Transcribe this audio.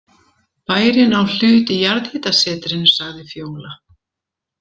Bærinn á hlut í jarðhitasetrinu, sagði Fjóla.